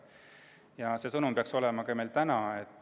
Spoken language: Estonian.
Ja see sõnum peaks meil olema ka täna.